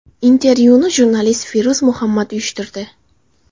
Intervyuni jurnalist Feruz Muhammad uyushtirdi.